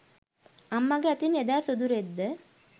අම්මගෙ අතින් එදා සුදු රෙද්ද